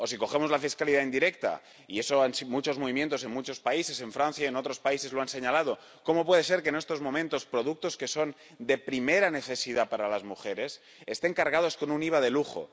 O, si hablamos de la fiscalidad indirecta ―y eso muchos movimientos, en muchos países, en Francia y en otros países lo han señalado―, ¿cómo puede ser que, en estos momentos, productos que son de primera necesidad para las mujeres estén cargados con un IVA de lujo?